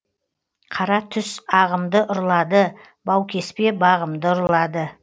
қара түс ағымды ұрлады баукеспе бағымды ұрлады